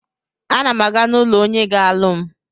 A na m aga n'ụlọ onye ga-alụ m.